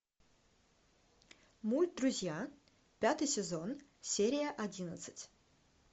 мульт друзья пятый сезон серия одиннадцать